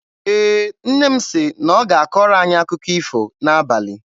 Ee, nne m sị na ọ ga-akọrọ anyị akụkọ ifo n'abalị.